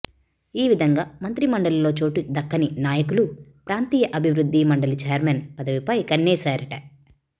ఈ విధంగా మంత్రిమండలిలో చోటు దక్కని నాయకులు ప్రాంతీయ అభివృద్ధి మండలి చైర్మన్ పదవిపై కన్నేశారట